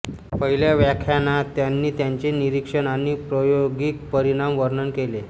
पहिल्या व्याख्यानात त्यांनी त्यांचे निरिक्षण आणि प्रायोगिक परिणाम वर्णन केले